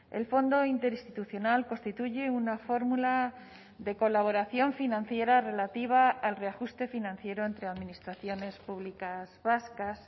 el fondo interinstitucional constituye una fórmula de colaboración financiera relativa al reajuste financiero entre administraciones públicas vascas